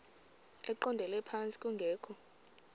eqondele phantsi kungekho